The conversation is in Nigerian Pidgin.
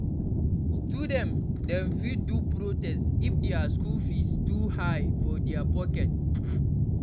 Student dem fit do protest if dia school fees too high for dia pocket.